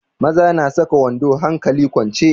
Maza na saka wando hankali kwance.